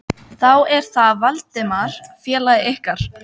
Þá er það Valdimar félagi ykkar.